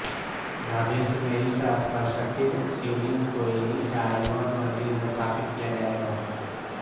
भविष्य में इस स्फटिक शिवलिंग को ईराइवन मंदिर में स्थापित किया जाएगा